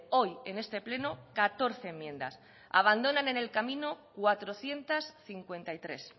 hoy en este pleno catorce enmiendas abandonan en el camino cuatrocientos cincuenta y tres